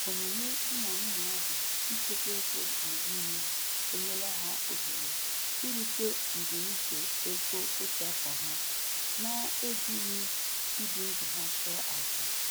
Omume di na nwunye ahụ ichekwa ego mgbe niile enyela ha ohere irute mbunuche ego otu afọ ha na-ejighị ibi ndụ ha chụọ aja.